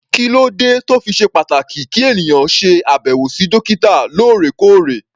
Kí ló dé tó fi ṣe pàtàkì kí ènìyàn ṣe àbẹ̀wò sí dókítà lóòrèkóòrè?